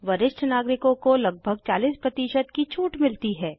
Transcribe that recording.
वरिष्ठ नागरिकों को लगभग 40 की छूट मिलती है